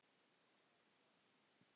Ertu að ljúga þessu?